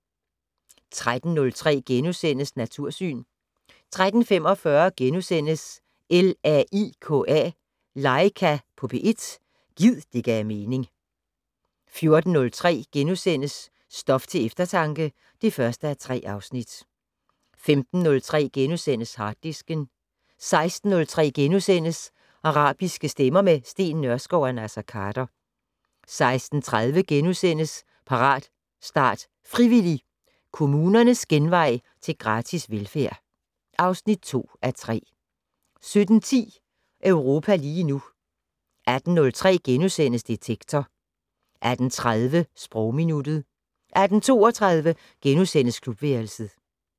13:03: Natursyn * 13:45: LAIKA på P1 - gid det gav mening * 14:03: Stof til eftertanke (1:3)* 15:03: Harddisken * 16:03: Arabiske stemmer - med Steen Nørskov og Naser Khader * 16:30: Parat, start, frivillig! - Kommunernes genvej til gratis velfærd (2:3)* 17:10: Europa lige nu 18:03: Detektor * 18:30: Sprogminuttet 18:32: Klubværelset *